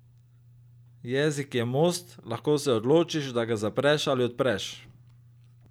Jezik je most, lahko se odločiš, da ga zapreš ali odpreš.